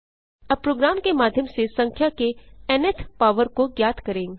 अब प्रोग्राम के माध्यम से संख्या के न्थ पॉवर को ज्ञात करें